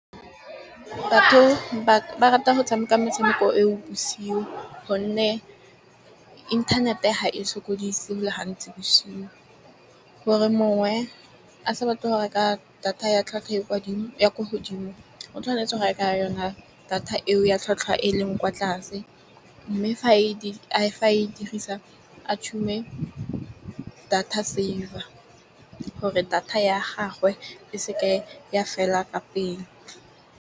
Batho ba rata go tshameka metshameko e o bosigo. Gonne internet-e ga e sokodise go le gantsi bosigo, gore mongwe a sa batle go reka data ya tlhwatlhwa ya kwa dimo, ya ko hodimo o tshwanetse go e reka yona, data eo ya tlhwatlhwa e e leng kwa tlase. Mme fa e dirisa a data saver gore data ya gagwe e seke ya fela ka pele.